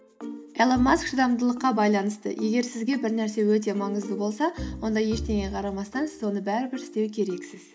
илон маск шыдамдылыққа байлынысты егер сізге бір нәрсе өте маңызды болса онда ештеңеге қарамастан сіз оны бәрібір істеу керексіз